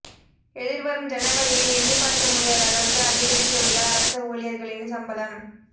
எதிர்வரும் ஜனவரியில் எண்ணிப் பார்க்க முடியாத அளவுக்கு அதிகரிக்கவுள்ள அரச ஊழியர்களின் சம்பளம்